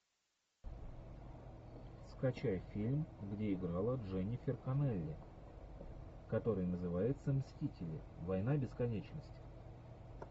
скачай фильм где играла дженнифер коннелли который называется мстители война бесконечности